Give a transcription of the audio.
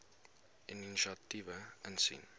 inisiatiewe insien